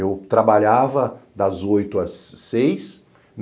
Eu trabalhava das oito às seis.